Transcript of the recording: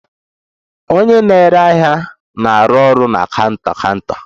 Onye na-ere ahịa na-arụ ọrụ na counter counter